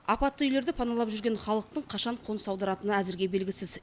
апатты үйлерді паналап жүрген халықтың қашан қоныс аударатыны әзірге белгісіз